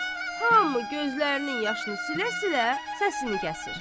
Hamı gözlərinin yaşını silə-silə səsini kəsir.